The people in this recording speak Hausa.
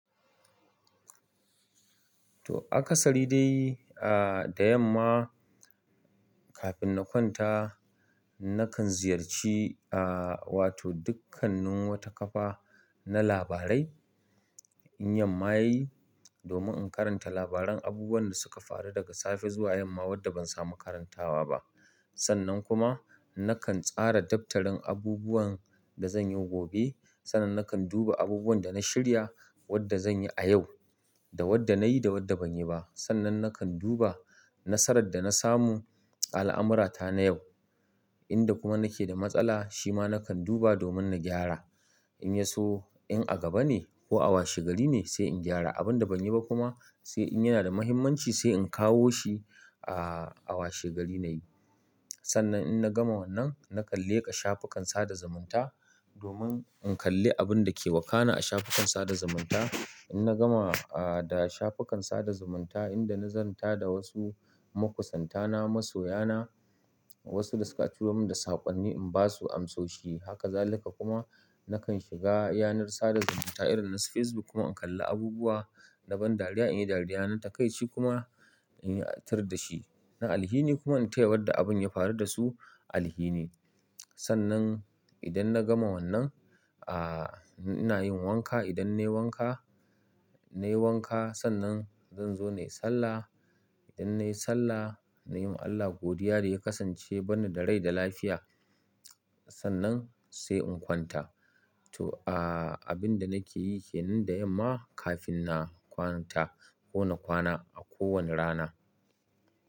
To aka sari dai, a da yamma kafin na kwanta nakan ziyarci a wato dukkanin wata kafa na labarai in yamma yayi domin in karanta labaran abubuwan da suka faru daga safe zuwa yamma wadda ban samu karantawa ba. Sannan kuma nakan tsara daftarin abubuwan da zan yi gobe, sannan nakan duba abubuwan da na shirya wadda zan yi a yau da wadda nayi da wadda banyi ba. Sannan nakan duba nasarar da na samu al'amurata na yau, inda kuma nake da matsala shima nakan duba domin na gyara. In yaso in a gaba ne ko a washe gari sai in gyara abun da ban yi ba kuma sai in yana da muhimmanci sai in kawo shi a washe gari nayi. Sannan in na gama wannan na kan leka shafukan sada zumunta domin in kalli abun dake wakana a shafukan sada zumunta. In na gama a da shafukan sada zumunta inda na zanta da wasu makusantana, masoyana wasu da suka turo min da sakonni in basu amsoshi. Haka zalika kuma nakan shiga yanar sada zumunta irin nasu facebook in kalli abubuwa na ban dariya in yi dariya nan takaici kuma in yi tir da shi. Na alhini kuma in taya wanda abin ya faru da su alhini. Sannan idan na gama wannan, a ina yin wanka. Idan nayi wanka sannan zan zo nayi sallah. Idan nayi sallah nayi ma Allah godiya da ya kasance ya barni da rai da lafiya sannan sai in kwanta. To a abin da nake yi ke nan da yamma kafin na kwanta ko na kwana a ko wani rana.